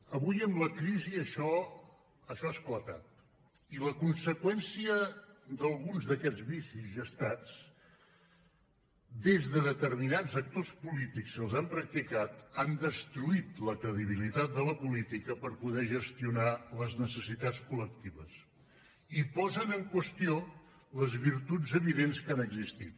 avui amb la crisi això ha esclatat i la conseqüència d’alguns d’aquests vicis gestats des de determinats sectors polítics que els han practicat han destruït la credibilitat de la política per poder gestionar les necessitats coldents que han existit